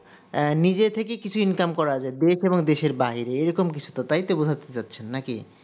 আহ নিজে থেকে কিছু income করা যাই দেশ এবং দেশের বাইরে এইরকম কিছু তাই তো বোঝাতে চাচ্চেন নাকি